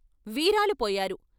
వీరాలు పోయారు.